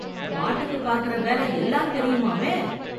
மாட்டுக்கு பாக்கற வேலை எல்லாம் தெரியுமாமே.